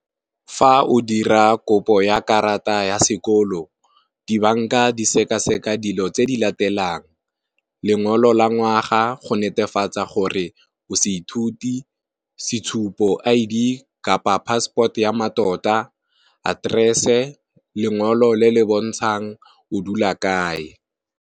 Fa o dira kopo ya karata ya sekolo, di banka di seka seka dilo tse di latelang lengolo la ngwaga go netefatsa gore o seithuti, setshupo, I_D kapa passport ya matota aterese lengolo le le bontshang o dula kae.